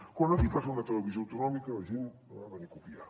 quan aquí es va fer una televisió autonòmica la gent la va venir a copiar